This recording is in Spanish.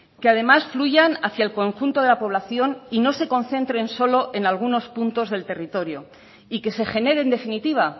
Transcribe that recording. que además fluyan hacía el conjunto de la población y no se concentren solo en algunos puntos del territorio y que se genere en definitiva